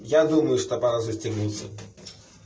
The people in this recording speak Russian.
я думаю что пора застегнуться